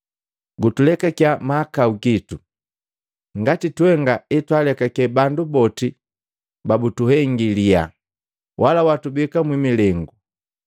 Gutulekakiya mahakau gitu, ngati twenga etwalekake bandu boti babutuhengi liyaha. Wala watubeka mwimilengu.’ ”